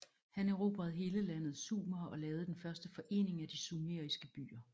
Han erobrede hele landet Sumer og lavede den første forening af de sumeriske byer